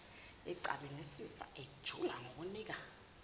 ecabangisisa ejula ngokuninga